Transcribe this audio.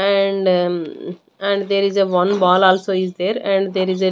And and there is a one ball also is there and there is a --